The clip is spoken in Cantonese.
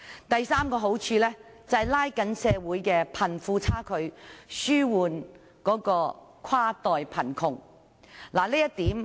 第三個好處是拉近社會的貧富差距，紓緩跨代貧窮。